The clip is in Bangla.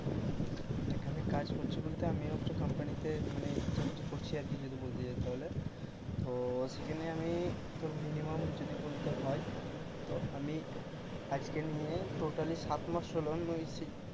এখানে কাজ করছি বলতে আমি আমিও একটা কোম্পানিতে মানে চাকরি করছি আর কি যদি বলতে যাই তাহলে তো সেখানে আমি minimum যদি বলতে হয় তো আমি আজকে নিয়ে totally সাত মাস হল আমি ও সেই,